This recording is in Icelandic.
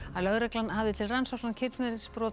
lögreglan hafði til rannsóknar kynferðisbrot